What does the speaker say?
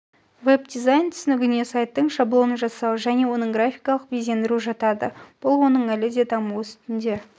веб-дизайн түсінігіне сайттың шаблонын жасау және оның графикалық безендіру жатады бұл оның әлі де даму үстінде